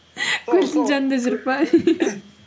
көлдің жанында жүріп пе